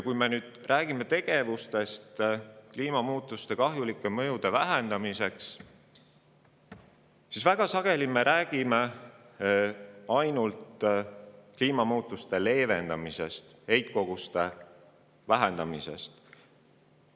Kui me räägime tegevustest, mis vähendada kliimamuutuste kahjulikke mõjusid, siis me räägime väga sageli ainult kliimamuutuste leevendamisest, heitkoguste vähendamisest.